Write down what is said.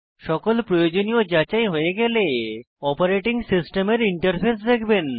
সকল প্রয়োজনীয় যাচাই হয়ে গেলে আপনি সিস্টেমের ইন্টারফেস দেখবেন